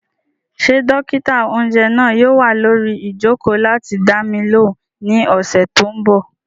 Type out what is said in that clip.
Ṣé dókítà-oúnjẹ náà yóò wà lórí ìjòkó láti dá mi lóhùn ní ọ̀sẹ̀ tó n bọ̀?